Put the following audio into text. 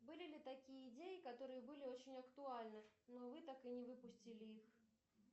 были ли такие идеи которые были очень актуальны но вы так и не выпустили их